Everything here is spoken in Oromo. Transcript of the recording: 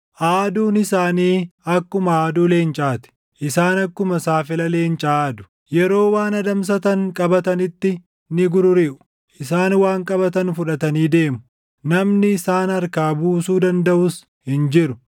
Aaduun isaanii akkuma aaduu leencaa ti; isaan akkuma saafela leencaa aadu; yeroo waan adamsatan qabatanitti ni gururiʼu; isaan waan qabatan fudhatanii deemu; namni isaan harkaa buusuu dandaʼus hin jiru.